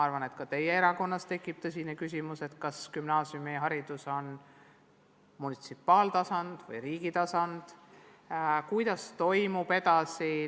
Arvan, et ka teie erakonnas tekib tõsine küsimus, kas gümnaasiumiharidus on munitsipaaltasand või riigitasand ja kuidas peaks edasi toimetama.